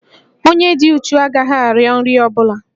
Onye dị uchu agaghị arịọ nri ọ bụla